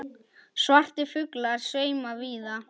Svartir fuglar sveima víða.